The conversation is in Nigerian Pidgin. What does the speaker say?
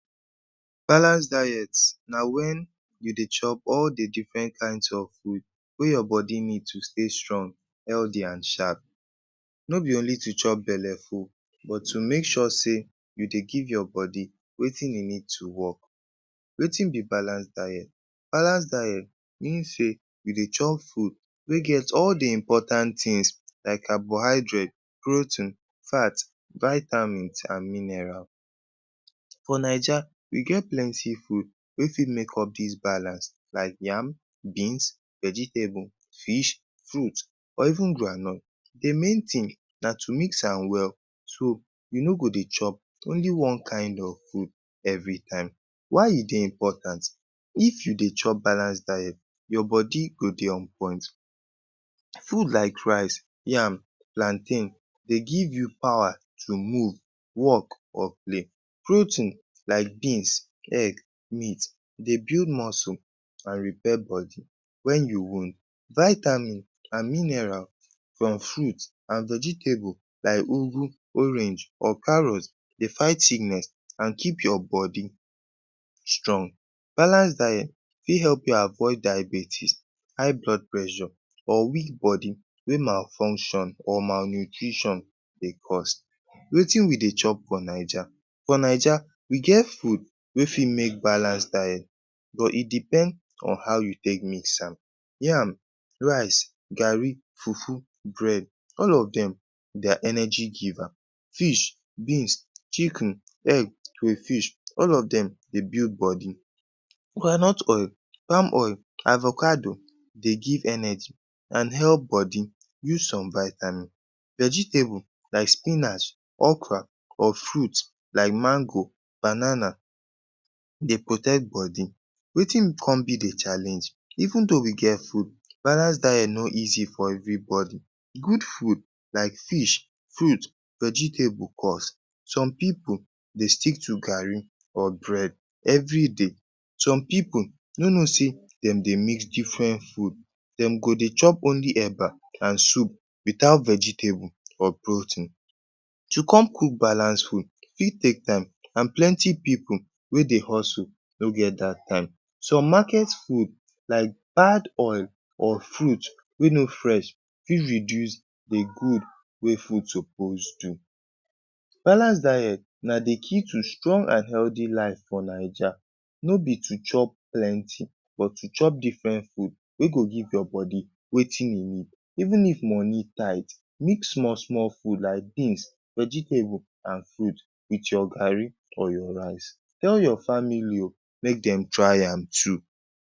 Balance diet na wen you dey chop all the different kinds of food wey your body need to stay strong, healthy an sharp. No be only to chop belle full, but to make sure sey you dey give your body wetin e need to work. Wetin be balance diet? Balance diet mean sey you dey chop food wey get all the important tins like carbohydrate, protein, fat, vitamins an mineral. For Naija, we get plenty food wey fit make up dis balance like yam, beans, vegetable, fish, fruit or even groundnut. The main tin na to mix am well so you no go dey chop only one kind of food every time. Why e dey important? If you dey chop balance diet, your body go dey on point. Food like rice, yam, plantain, dey give you power to move, work, or play. Protein like beans, egg, meat, dey build muscle an repair body wen you wound. Vitamin an mineral from fruit an vegetable like ugu, orange, or carrot, dey fight sickness an keep your body strong. Balance diet fit help you avoid diabetes, high blood pressure or weak body wey malfunction or malnutrition dey cause. Wetin we dey chop for Naija? For Naija we get food wey fit make balance diet, but e depend on how you take mix am. Yam, rice, garri, fufu, bread, all of dem, de are energy giver. Fish, beans, chicken, egg, crayfish, all of dem dey build body. Groundnut oil, palm oil, avocado dey give energy an help body use some vitamin. Vegetable like spinach, okra or fruit like mango, banana dey protect body. Wetin con be the challenge? Even though we get food, balance diet no easy for everybody. Good food like fish, fruit, vegetable cost. Some pipu dey stick to garri or bread everyday. Some pipu no know sey dem dey mix different food. Dem go dey chop only eba an soup without vegetable or protein. To come cook balance food fit take time an plenty pipu wey dey hustle no get dat time. Some market food like bad oil or fruit wey no fresh fi reduce the good wey food suppose do. Balance diet na the key to strong an healthy life for Naija. No be to chop plenty, but to chop different food wey go give your body wetin e need. Even if moni tight, mix small-small food like beans, vegetable, an fruit with your garri or your rice. Tell your family oh, make dem try am too.